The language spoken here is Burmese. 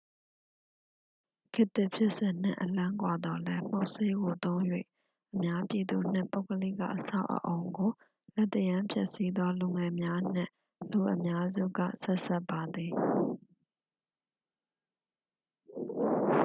ခေတ်သစ် ဖြစ်စဉ်နှင့် အလှမ်းကွာသော်လည်း မှုတ်ဆေးကို သုံး၍ အများပြည်သူနှင့် ပုဂ္ဂလိက အဆောက်အအုံကို လက်သရမ်းဖျက်ဆီးသော လူငယ်များနှင့် လူအများစုက ဆက်စပ်ပါသည်